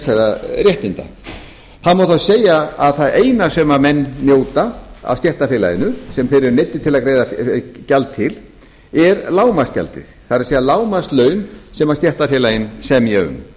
þessara réttinda það má þá segja að það eina sem menn njóta af stéttarfélaginu sem þeir eru neyddir til að greiða gjald til er lágmarksgjaldið það er lágmarkslaun sem stéttarfélögin semja um